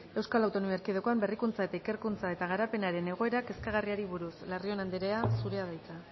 eaen berrikuntza eta ikerkuntza eta garapenaren egoera kezkagarriari buruz larrion andrea zurea da hitza